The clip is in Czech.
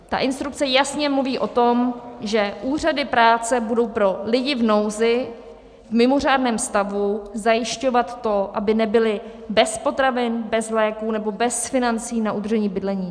Ta instrukce jasně mluví o tom, že úřady práce budou pro lidi v nouzi v mimořádném stavu zajišťovat to, aby nebyli bez potravin, bez léků nebo bez financí na udržení bydlení.